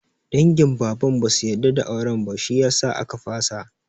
Dangin Baban basu yarda da auren ba, shi yasa aka fasa.